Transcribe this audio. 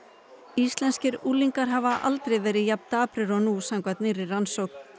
íslenskir unglingar hafa aldrei verið jafn daprir og nú samkvæmt nýrri rannsókn